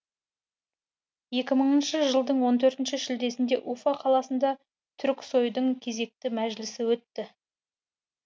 екі мыңыншы жылдың он төртінші шілдесінде уфа қаласында туріксойдың кезекті мәжілісі өтті